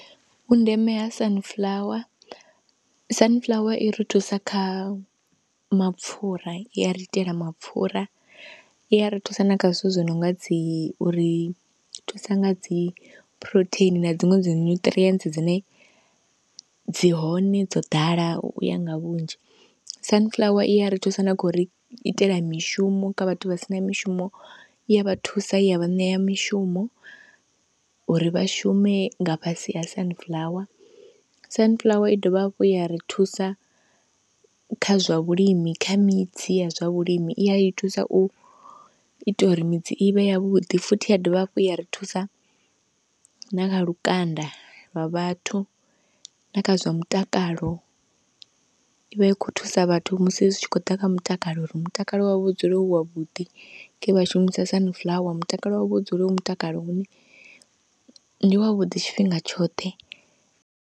Vhundeme ha sunflower, sunflower i ri thusa kha mapfhura i ya ri itela mapfhura, i ya ri thusa na kha zwithu zwinonga dzi uri thusa nga dzi protein na dziṅwe dzi nutrients dzine dzi hone dzo ḓala uya nga vhunzhi. Sunflower i ya ri thusa na kha uri itela mishumo kha vhathu vha sina mishumo, i ya vha thusa i ya vha ṋea mishumo uri vha shume nga fhasi ha sunflower, sunflower i dovha hafhu ya ri thusa kha zwa vhulimi, kha midzi ya zwa vhulimi i ya i thusa u ita uri midzi i vhe ya vhuḓi, futhi ya dovha hafhu ya ri thusa na kha lukanda lwa vhathu, na kha zwa mutakalo i vha i khou thusa vhathu musi zwi tshi khou ḓa kha mutakalo uri mutakalo wavho u dzule u wavhuḓi nge vha shumisa sunflower, mutakalo wavho u dzule u mutakalo une ndi wavhuḓi tshifhinga tshoṱhe.